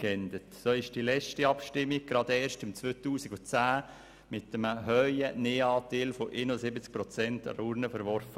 So wurde das Anliegen gerade erst in der letzten Abstimmung im Jahr 2010 mit einem hohen Nein-Stimmen-Anteil von 71 Prozent an der Urne verworfen.